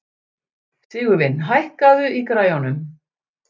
Sigurvin, hækkaðu í græjunum.